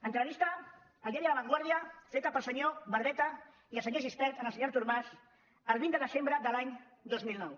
entrevista al diari la vanguardia feta pel senyor barbeta i el senyor gispert al senyor artur mas el vint de desembre de l’any dos mil nou